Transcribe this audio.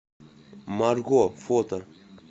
марго фото